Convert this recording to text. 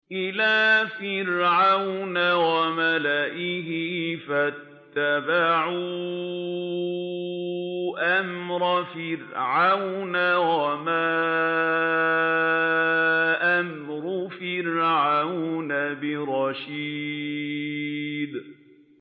إِلَىٰ فِرْعَوْنَ وَمَلَئِهِ فَاتَّبَعُوا أَمْرَ فِرْعَوْنَ ۖ وَمَا أَمْرُ فِرْعَوْنَ بِرَشِيدٍ